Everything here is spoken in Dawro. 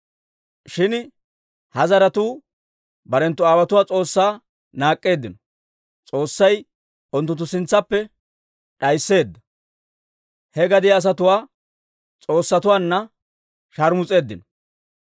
Shin ha zaratuu barenttu aawotuwaa S'oossaa naak'k'eddino; S'oossay unttunttu sintsaappe d'aysseedda he gadiyaa asatuwaa s'oossatuwaanna shaarmus'eeddino.